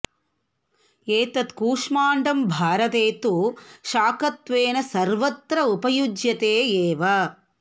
एतत् कूष्माण्डं भारते तु शाकत्वेन सर्वत्र उपयुज्यते एव